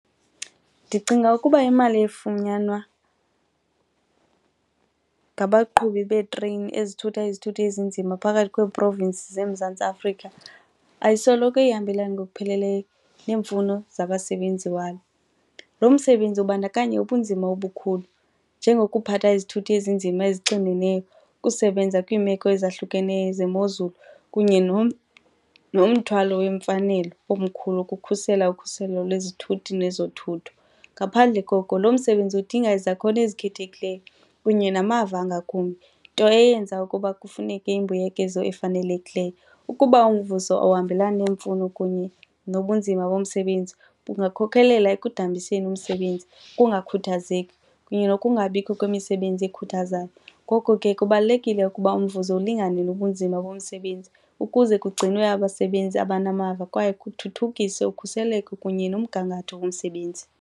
Ndicinga ukuba imali efunyanwa ngabaqhubi beetreyini ezithutha izithuthi ezinzima phakathi kwee-province zeMzantsi Afrika ayisoloko ihambelana ngokupheleleyo neemfuno zabasebenzi walo. Lo msebenzi ubandakanya ubunzima obukhulu njengokuphatha izithuthi ezinzima ezixineneyo, ukusebenza kwiimeko ezahlukeneyo zemozulu kunye nomthwalo weemfanelo omkhulu kukhusela ukhuselo lwezithuthi nezothutho. Ngaphandle koko lo msebenzi udinga izakhono ezikhethekileyo kunye namava angakumbi, nto eyenza ukuba kufuneke imbuyekezo efanelekileyo. Ukuba umvuzo ohambelana neemfuno kunye nobunzima bomsebenzi bungakhokhelela ekudambiseni umsebenzi, ukungakhuthazeki kunye nokungabikho kwemisebenzi ekhuthazayo ngoko ke kubalulekile ukuba umvuzo ulingane nobunzima bomsebenzi ukuze kugcinwe abasebenzi abanamava kwaye kuthuthukiswe ukhuseleko kunye nomgangatho womsebenzi.